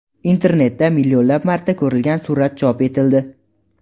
Internetda millionlab marta ko‘rilgan surat chop etildi.